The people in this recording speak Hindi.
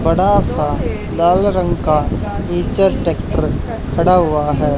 बड़ा सा लाल रंग का इचर ट्रैक्टर खड़ा हुआ है।